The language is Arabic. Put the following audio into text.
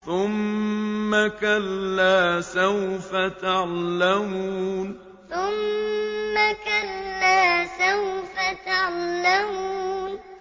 ثُمَّ كَلَّا سَوْفَ تَعْلَمُونَ ثُمَّ كَلَّا سَوْفَ تَعْلَمُونَ